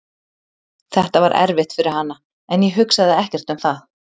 Þetta var erfitt fyrir hana en ég hugsaði ekkert um það.